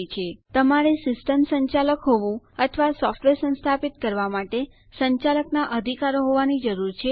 તમારે સિસ્ટમ સંચાલક એટલે કે સિસ્ટમ એડમિનિસ્ટ્રેટર હોવું અથવા સોફ્ટવેર સંસ્થાપિત કરવા માટે સંચાલકના અધિકારો હોવાની જરૂર છે